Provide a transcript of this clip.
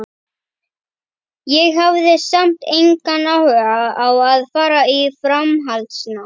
Ég hafði samt engan áhuga á að fara í framhaldsnám.